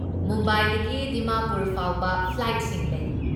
ꯃꯨꯝꯕꯥꯏꯗꯒꯤ ꯗꯤꯃꯥꯄꯨꯔ ꯐꯥꯎꯕ ꯐ꯭ꯂꯥꯏꯠꯁꯤꯡ ꯂꯩ꯫